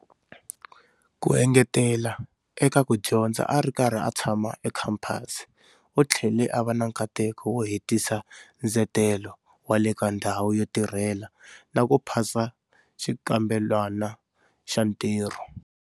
Ku engetela eka ku dyondza a ri karhi a tshama ekhampasi, u tlhele a va na nkateko wo hetisa ndzetelo wa le ka ndhawu yo tirhela na ku pasa xikambelwana xa ntirho.